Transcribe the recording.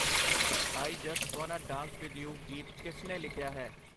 I just wanna dance with you ਗੀਤ ਕਿਸ ਨੇ ਲਿਖਿਆ ਹੈ ?